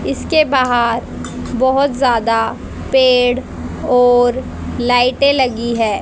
इसके बाहर बहोत ज्यादा पेड़ और लाइटे लगी है।